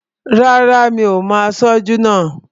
Rárá, mi ò mo aṣojú náà